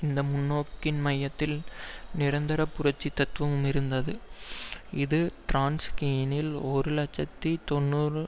இந்த முன்னோக்கின் மையத்தில் நிரந்தர புரட்சி தத்துவம் இருந்தது இது ட்ராட்ஸ்கியினால் ஒரு இலட்சத்தி தொன்னூறு